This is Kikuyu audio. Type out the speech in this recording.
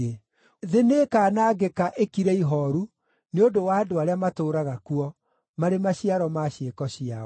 Thĩ nĩĩkanangĩka ĩkire ihooru nĩ ũndũ wa andũ arĩa matũũraga kuo, marĩ maciaro ma ciĩko ciao.